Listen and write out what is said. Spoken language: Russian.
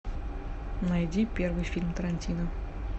найди первый фильм тарантино